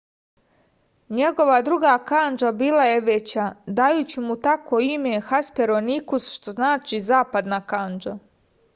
njegova druga kandža bila je veća dajući mu tako ime hesperonikus što znači zapadna kandža